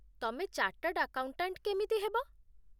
ତମେ chartered accountant କେମିତି ହେବ?